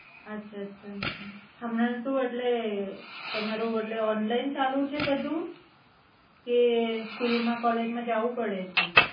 અચ્છા હમના સુ એટલે તમારું એટલે ઓનલાઈન ચાલુ છે બધુ કે સ્કૂલ માં કૉલેજ જવું પડેછે?